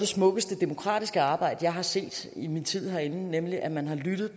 smukkeste demokratiske arbejde jeg har set i min tid herinde nemlig at man har lyttet